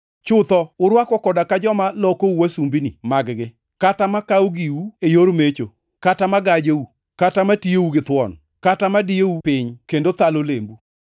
Chutho urwako koda ka joma lokou wasumbini mag-gi, kata makawo giu e yor mecho, kata ma gajou, kata ma tiyou githuon, kata ma diyou piny kendo thalo lembu!